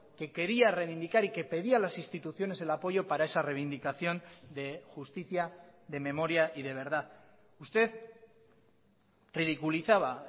que quería reivindicar y que pedía a las instituciones el apoyo para esa reivindicación de justicia de memoria y de verdad usted ridiculizaba